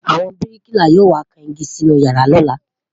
àwọn biriki là yọ wà kàn ìgi Si inú yàrá lola